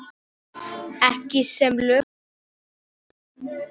Ekki sem lökust býti það.